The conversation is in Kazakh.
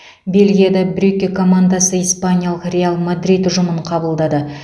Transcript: бельгияда брюгге командасы испаниялық реал мадрид ұжымын қабылдады